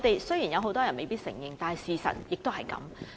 雖然很多人未必會承認，但事實卻是如此。